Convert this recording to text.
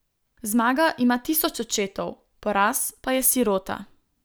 Zmaga ima tisoč očetov, poraz pa je sirota.